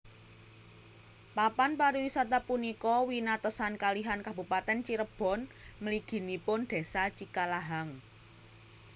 Papan pariwisata punika winatesan kalihan Kabupatèn Cirebon mliginipun Désa Cikalahang